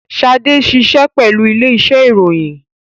Shade ṣiṣẹ pẹlu ile-iṣẹ iroyin